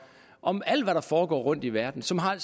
om alt hvad der foregår rundt i verden som har